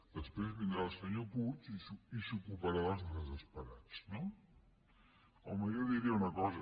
després vindrà el senyor puig i s’ocuparà dels desesperats no home jo diria una cosa